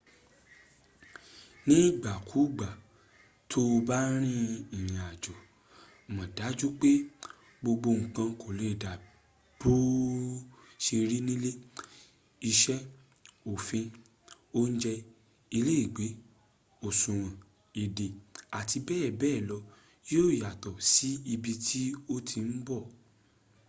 nigbakugba to ba rin irinajo mo daju pe gbogbo nkan kole dabi bo se ri nile” ise, ofin ounje ilegbe osuwon ede ati bebe lo yo yato si ibi ti o ti n bo